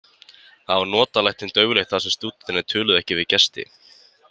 Þar var notalegt en dauflegt þar sem stúdentar töluðu ekki við gesti.